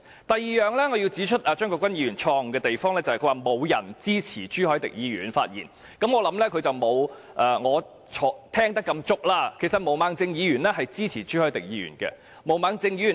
第二，我想指出張國鈞議員錯誤的地方，就是他說沒有人的發言支持朱凱廸議員，我相信張國鈞議員沒有我聽得那麼足，其實毛孟靜議員支持朱凱廸議員的議案。